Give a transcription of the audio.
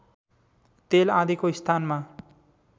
तेल आदिको स्थानमा